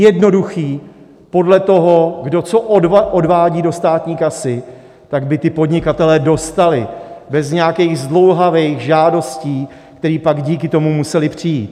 Jednoduché, podle toho, kdo co odvádí do státní kasy, tak by ti podnikatelé dostali, bez nějakých zdlouhavých žádostí, které pak díky tomu musely přijít.